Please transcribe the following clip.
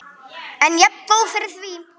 En jafngóð fyrir því!